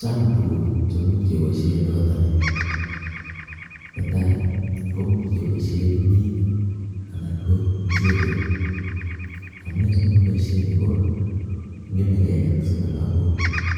Chang tukuk cheimuch keboishen nekoto nii, netai koimuch keboishen kimnyet anan ko muchelek, amunee simokiboishen nii ko ng'eme kelek chebo lokok